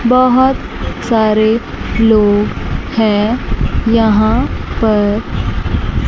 बहोत सारे लोग हैं यहां पर--